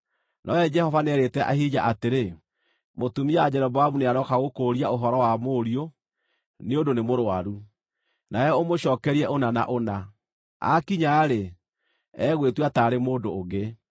Nowe Jehova nĩeerĩte Ahija atĩrĩ, “Mũtumia wa Jeroboamu nĩarooka gũkũũria ũhoro wa mũriũ nĩ ũndũ nĩ mũrũaru, nawe ũmũcookerie ũna na ũna. Aakinya-rĩ, egwĩtua taarĩ mũndũ ũngĩ.”